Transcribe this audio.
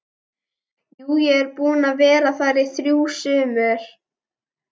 Jú, ég er búinn að vera þar í þrjú sumur